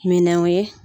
Minɛnw ye